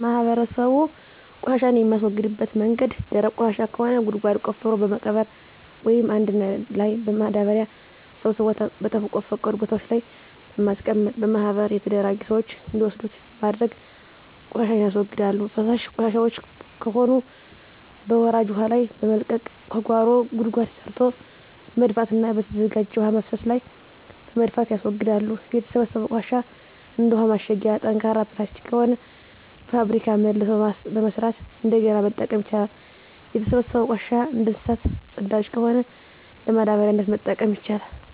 ማህበረሰቡ ቆሻሻን የሚያስወግድበት መንገድ ደረቅ ቆሻሻ ከሆነ ጉድጓድ ቆፍሮ በመቅበር ወይም አንድ ላይ በማዳበሪያ ሰብስቦ በተፈቀዱ ቦታወች ላይ በማስቀመጥ በማህበር የተደራጁ ስዎች እንዲወስዱት በማድረግ ቆሻሻን ያስወግዳሉ። ፈሳሽ ቆሻሻወች ከሆኑ በወራጅ ውሀ ላይ በመልቀቅ ከጓሮ ጉድጓድ ሰርቶ በመድፋትና በተዘጋጀ የውሀ መፍሰሻ ላይ በመድፋት ያስወግዳሉ። የተሰበሰበው ቆሻሻ እንደ ውሀ ማሸጊያ ጠንካራ ፕላስቲክ ከሆነ በፋብሪካ መልሶ በመስራት እንደገና መጠቀም ይቻላል። የተሰበሰበው ቆሻሻ እንደ እንሰሳት ፅዳጅ ከሆነ ለማዳበሪያነት መጠቀም ይቻላል።